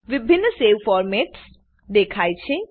વિભિન્ન save formats દેખાય છે